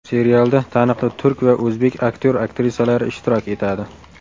Serialda taniqli turk va o‘zbek aktyor-aktrisalari ishtirok etadi.